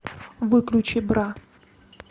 выключи бра